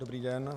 Dobrý den.